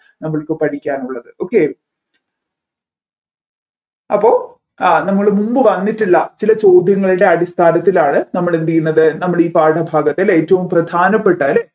നമ്മൾക്ക് പഠിക്കാനുള്ളത് okay അപ്പൊ ആ നമ്മൾ മുൻപ് വന്നിട്ടുള്ള ചില ചോദ്യങ്ങളുടെ അടിസ്ഥാനത്തിലാണ് നമ്മൾ എന്തുചെയ്യുന്നത് നമ്മൾ ഈ പാഠഭാഗത്ത് അല്ലെ ഏറ്റവും പ്രധാനപ്പെട്ടത് അല്ലെ